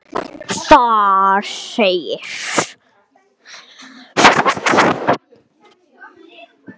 Þar segir